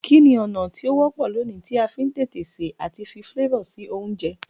Kíni ọ̀nà ti o wọ́pọ̀ loní ti a fi n tètè se àti fi flavor si ounje